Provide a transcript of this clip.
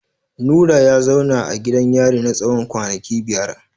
Nura ya zauna a gidan yari na tsawon kwanaki biyar.